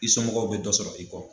I somɔgɔw bɛ dɔ sɔrɔ i kɔ.